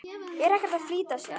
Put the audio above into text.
Er ekkert að flýta sér.